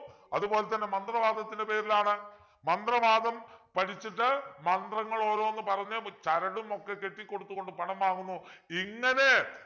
അതുപോലെതന്നെ മന്ത്രവാദത്തിൻ്റെ പേരിലാണ് മന്ത്രവാദം പഠിച്ചിട്ട് മന്ത്രങ്ങൾ ഓരോന്ന് പറഞ്ഞു ചരടും ഒക്കെ കെട്ടിക്കൊടുത്തുകൊണ്ട് പണം വാങ്ങുന്നു ഇങ്ങനെ